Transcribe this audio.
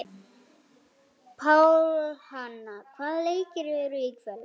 Pálhanna, hvaða leikir eru í kvöld?